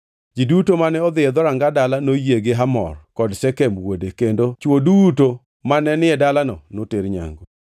Ji duto mane odhi e dhoranga dala noyie gi Hamor kod Shekem wuode kendo chwo duto mane ni e dalano noter nyangu.